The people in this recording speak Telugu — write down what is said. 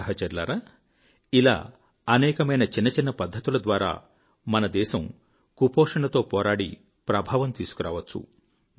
సహచరులారా ఇలా అనేకమైన చిన్న చిన్న పద్ధతులద్వారా మన దేశము కుపోషణతో పోరాడి ప్రభావం తీసుకురావచ్చు